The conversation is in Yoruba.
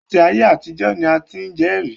Láti ayé àtijọ́ ni a ti ń jẹ́rìí